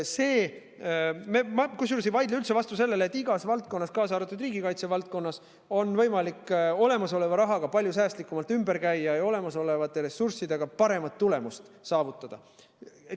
Kusjuures ma ei vaidle üldse vastu sellele, et igas valdkonnas, kaasa arvatud riigikaitse valdkonnas on võimalik olemasoleva rahaga palju säästlikumalt ümber käia ja olemasolevate ressurssidega paremat tulemust saavutada.